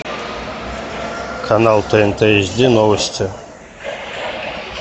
канал тнт эйч ди новости